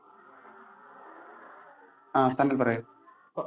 ആ താങ്കൾ പറയൂ.